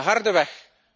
De harde weg.